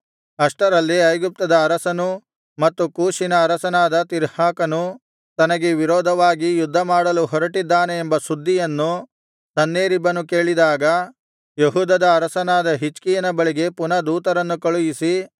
ಅಷ್ಟರಲ್ಲಿ ಐಗುಪ್ತದ ಅರಸನೂ ಮತ್ತು ಕೂಷಿನ ಅರಸನಾದ ತಿರ್ಹಾಕನು ತನಗೆ ವಿರೋಧವಾಗಿ ಯುದ್ಧಮಾಡಲು ಹೊರಟಿದ್ದಾನೆ ಎಂಬ ಸುದ್ದಿಯನ್ನು ಸನ್ಹೇರೀಬನು ಕೇಳಿದಾಗ ಯೆಹೂದದ ಅರಸನಾದ ಹಿಜ್ಕೀಯನ ಬಳಿಗೆ ಪುನಃ ದೂತರನ್ನು ಕಳುಹಿಸಿ